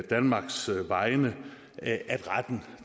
danmarks vegne at retten